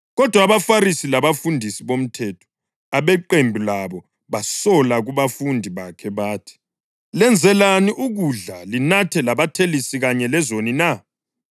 Kodwa abaFarisi labafundisi bomthetho abeqembu labo basola kubafundi bakhe bathi, “Lenzelani ukudla linathe labathelisi kanye lezoni na?”